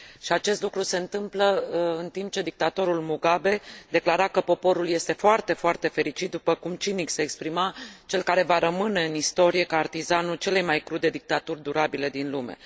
Acest lucru se întâmplă în timp ce dictatorul Mugabe declara că poporul este foarte, foarte fericit, după cum cinic se exprima cel care va rămâne în istorie ca artizanul celei mai crude dictaturi durabile din lume.